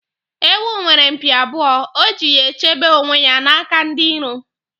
Ewu nwere mpi abụọ, o ji ya chebe onwe ya n'aka ndi iro.